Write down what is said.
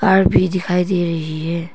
Car भी दिखाई दे रही है।